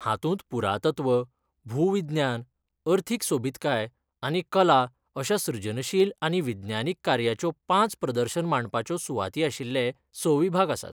हातूंत पुरातत्व, भूविज्ञान, अर्थीक सोबीतकाय आनी कला अश्या सृजनशील आनी विज्ञानीक कार्याच्यो पांच प्रदर्शन मांडपाच्यो सुवाती आशिल्ले स विभाग आसात.